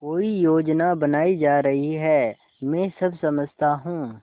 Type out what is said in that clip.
कोई योजना बनाई जा रही है मैं सब समझता हूँ